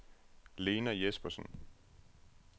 Lena Jespersen